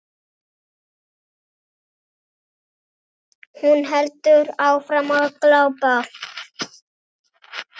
Hún heldur áfram að glápa.